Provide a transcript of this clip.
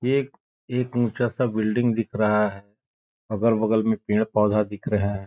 ये एक एक ऊँचा सा बिल्डिंग दिख रहा है अगल-बगल में पेड़-पौधा दिख रहे है।